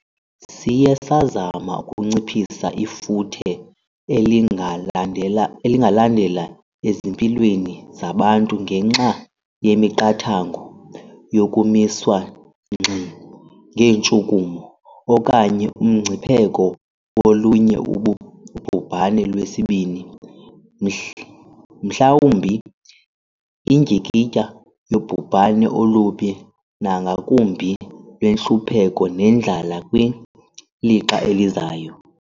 Siye sazama ukunciphisa ifuthe elingalandela ezimpilweni zabantu ngenxa yemiqathango yokumiswa ngxi ngeentshukumo, okanye umngcipheko wolunye ubhubhane lwesibini, mhlawumbi indyikitya yobhubhane olubi nangakumbi lwentlupheko nendlala kwilixa elizayo.